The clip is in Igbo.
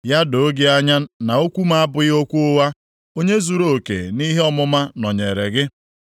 Ya doo gị anya na okwu m abụghị okwu ụgha; onye zuruoke nʼihe ọmụma nọnyeere gị.